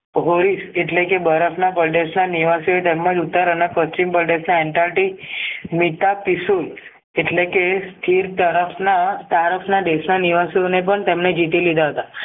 હોરીસ એટલેકે બરફના કોલ્ડેર્સના નિવાસી ઓ તેમજ ઉતારાના પશ્ચિમ બલદેસના એન્ટારટી મીતા પિશુ એટલેકે સ્થિર તરસના તારશના દેશના નિવાસીઓને પણ તેમણે જીતી લીધા હતા